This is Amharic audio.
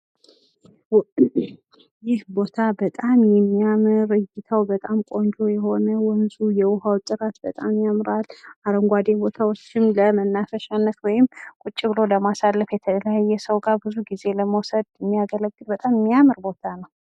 ይህ ቦታ በጣም የሚያምር እይታው፣ በጣም ቆንጆ የሆነ ወንዙ የዉሃዉ ጨረር በጣም ያምራል ፤ አረንጓዴ ቦታዎችም ለመናፈሻነት ወይም ቁጭ ብሎ ለማሳለፍ የተለያየ ስውጋ ብዙ ጊዜ ለመዉሰድ የሚያገለግል በጣም የሚያምር ቦታ ነው።